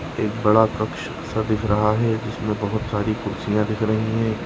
एक बड़ा कक्ष सा दिख रहा है। जिसमें बहुत सारी कुर्सीया दिख रही हैं।